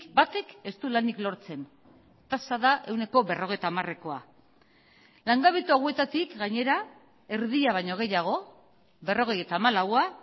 batek ez du lanik lortzen tasa da ehuneko berrogeita hamarekoa langabetu hauetatik gainera erdia baino gehiago berrogeita hamalaua